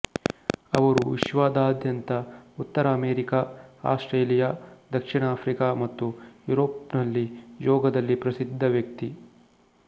ಅವರು ವಿಶ್ವದಾದ್ಯಂತ ಉತ್ತರ ಅಮೆರಿಕಾ ಆಸ್ಟ್ರೇಲಿಯಾ ದಕ್ಷಿಣಆಫ್ರಿಕಾ ಮತ್ತು ಯುರೋಪ್ನಲ್ಲಿ ಯೋಗದಲ್ಲಿ ಪ್ರಸಿದ್ಧ ವ್ಯಕ್ತಿ